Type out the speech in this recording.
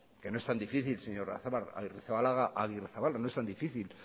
que no es tan difícil señora arrizabalaga no es tan difícil